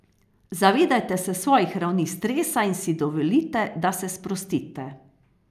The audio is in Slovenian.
Zavedajte se svojih ravni stresa in si dovolite, da se sprostite.